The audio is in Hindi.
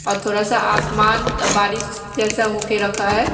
और थोडा सा आसमान बारिश जैसा होके रखा है।